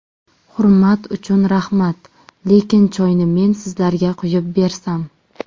Hurmat uchun rahmat, lekin choyni men sizlarga quyib bersam.